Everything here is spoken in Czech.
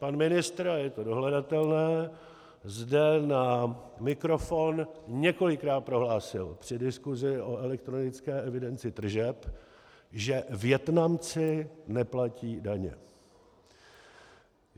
Pan ministr, a je to dohledatelné, zde na mikrofon několikrát prohlásil při diskusi o elektronické evidenci tržeb, že Vietnamci neplatí daně.